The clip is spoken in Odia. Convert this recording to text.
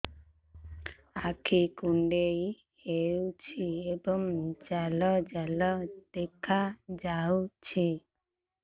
ଆଖି କୁଣ୍ଡେଇ ହେଉଛି ଏବଂ ଜାଲ ଜାଲ ଦେଖାଯାଉଛି